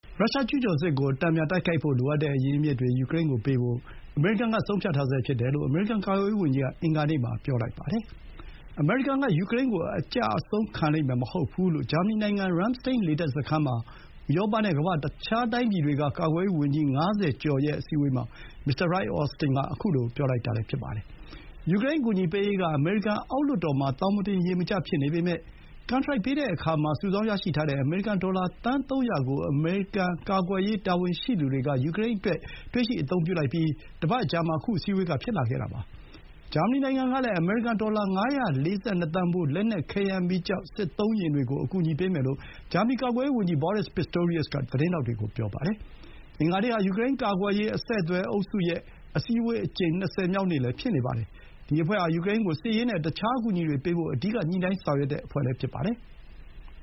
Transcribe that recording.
ရုရှားကျူးကျော်စစ်ကိုတိုက်ခိုက်ဖို့ လိုအပ်တဲ့အရင်းအမြစ်တွေ ယူကရိန်းကိုပေးဖို့ အမေရိကန်က ဆုံးဖြတ်ထားဆဲဖြစ်တယ်လို့ အမေရိကန်ကာကွယ်ရေးဝန်ကြီးက အင်္ဂါနေ့မှာ ပြောလိုက်ပါတယ်။ အမေရိကန်က ယူကရိန်းကို အကျအဆုံးခံလိမ့်မယ်မဟုတ်ဘူး-လို့ ဂျာမနီနိုင်ငံ ရမ်းစတိန်း လေတပ်စခန်းမှာ ဥရောပနဲ့ ကမ္ဘာ့ တခြားတိုင်းပြည်တွေက ကာကွယ်ရေးဝန်ကြီး ၅၀ ကျော်ရဲ့အစည်းအဝေးမှာ မစ္စတာ လွိုက် အော်စတင်က ခုလို ပြောလိုက်တာလည်း ဖြစ်ပါတယ်။ ယူကရိန်းကိုအကူအညီပေးရေးက အမေရိကန်အောက်လွှတ်တော်မှာ သောင်မတင်ရေမကျ ဖြစ်နေပေမဲ့ ကန်ထရိုက်ပေးတဲ့အခါ စုဆောင်းရရှိထားတဲ့ အမေရိကန်ဒေါ်လာ သန်း ၃၀၀ ကို အမေရိကန် ကာကွယ်ရေး တာဝန်ရှိသူတွေက တွေ့ရှိအသုံးပြုလိုက်ပြီး တပတ်အကြာမှာ ခု အစည်းအဝေးဖြစ်လာခဲ့တာပါ။ ဂျာမနီနိုင်ငံကလည်း အမေရိကန် ဒေါ်လာ ၅၄၂ သန်းဖိုး လက်နက်၊ ခဲယမ်းမီးကျောက်၊ စစ်သုံးယာဥ်တွေကို အကူအညီပေးမယ်လို့ ဂျာမနီ ကာကွယ်ရေး န်ကြီး Boris Pistorius က သတင်းထောက်တွေ ကို ပြောပါတယ်။ အင်္ဂါနေ့ဟာ ယူကရိန်းကာကွယ်ရေး အဆက်အသွယ်အုပ်စုရဲ့ အစည်းအဝေး အကြိမ် ၂၀ မြောက်နေ့လည်း ဖြစ်နေပါတယ်။ ဒီအဖွဲ့ဟာ ယူကရိန်းကို စစ်ရေးနဲ့ အခြား အကူအညီတွေပေးဖို့ အဓိက ညှိနှိုင်းဆောင်ရွက်တဲ့အဖွဲ့လည်း ဖြစ်ပါတယ်။